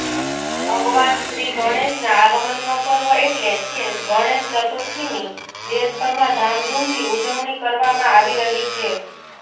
ભગવાન શ્રીગણેશનાં આગમનનો પર્વ એટલે કે ગણેશ ચતુર્થીની દેશભરમાં ધામધૂમથી ઉજવણી કરવામાં આવી રહી છે